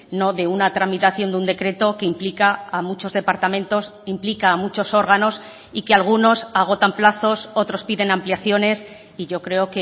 no de una tramitación de un decreto que implica a muchos departamentos implica a muchos órganos y que algunos agotan plazos otros piden ampliaciones y yo creo